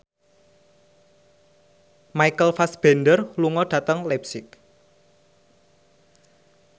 Michael Fassbender lunga dhateng leipzig